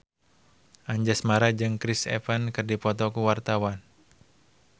Anjasmara jeung Chris Evans keur dipoto ku wartawan